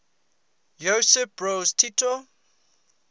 josip broz tito